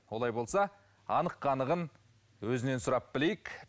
олай болса анық қанығын өзінен сұрап білейік